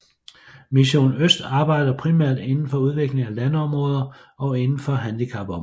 Mission Øst arbejder primært inden for udvikling af landområder og inden for handicapområdet